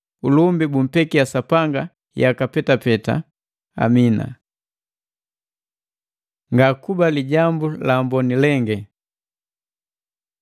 Ulumbi bumpekiya Sapanga yaka petapeta! Amina. Ngakuba Lijambu la Amboni lengi